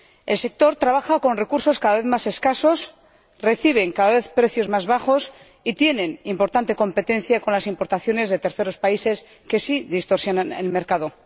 El sector trabaja con recursos cada vez más escasos, recibe cada vez precios más bajos y tiene una importante competencia con las importaciones de terceros países, que sí distorsionan el mercado.